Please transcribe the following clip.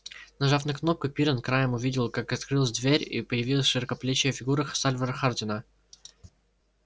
нажав на кнопку пиренн краем увидел как открылась дверь и появилась широкоплечая фигура сальвора хардина